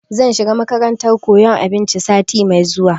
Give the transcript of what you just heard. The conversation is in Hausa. Zan shiga makarantar koyan abinci sati mai zuwa